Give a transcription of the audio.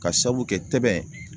K'a sabu kɛ tɛbɛn